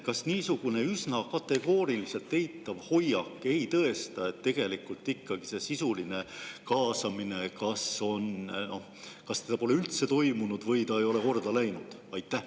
Kas niisugune üsna kategooriliselt eitav hoiak ei tõesta, et tegelikult ikkagi seda sisulist kaasamist kas pole üldse toimunud või see ei ole korda läinud?